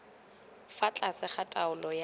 fa tlase ga taolo ya